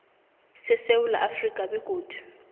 sesewula afrika begodu